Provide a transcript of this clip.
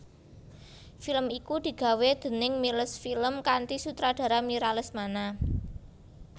Film iku digawé déning Miles Film kanthi sutradara Mira Lesmana